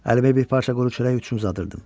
Əlimi bir parça quru çörək üçün uzadırdım.